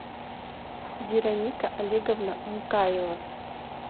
вероника олеговна мукаева